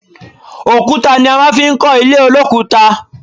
Òkúta ni a fi máa ń kó ilé olokuta